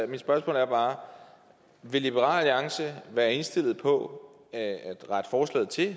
mit spørgsmål er bare vil liberal alliance være indstillet på at rette forslaget til